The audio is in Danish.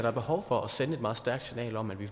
er behov for at sende et meget stærkt signal om at vi